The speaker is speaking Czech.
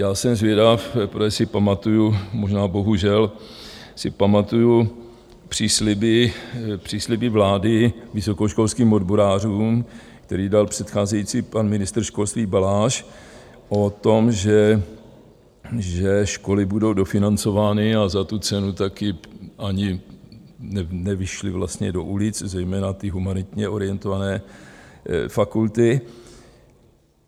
Já jsem zvědav, protože si pamatuju, možná bohužel si pamatuju přísliby vlády vysokoškolským odborářům, který dal předcházející pan ministr školství Baláž o tom, že školy budou dofinancovány a za tu cenu taky ani nevyšly vlastně do ulic zejména ty humanitně orientované fakulty.